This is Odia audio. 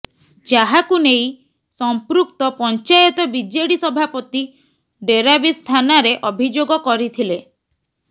ଯାହାକୁ ନେଇ ସଂପୃକ୍ତ ପଞ୍ଚାୟତ ବିଜେଡି ସଭାପତି ଡେରାବିଶ ଥାନାରେ ଅଭିଯୋଗ କରିଥିଲେ